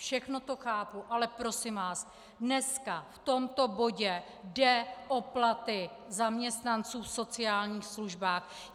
Všechno to chápu, ale prosím vás, dneska v tomto bodě jde o platy zaměstnanců v sociálních službách.